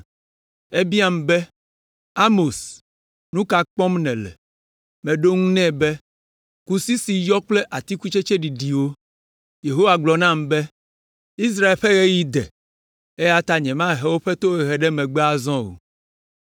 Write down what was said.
Ebiam be, “Amos, nu ka kpɔm nèle?” Meɖo eŋu nɛ be, “Kusi si yɔ kple atikutsetse ɖiɖiwo.” Yehowa gblɔ nam be, “Israel ƒe ɣeyiɣi de, eya ta nyemagahe woƒe tohehe ɖe megbe azɔ o.”